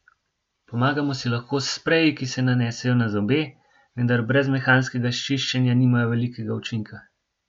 Pomagamo si lahko s spreji, ki se nanesejo na zobe, vendar brez mehanskega čiščenja nimajo velikega učinka.